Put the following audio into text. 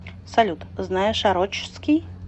салют знаешь орочский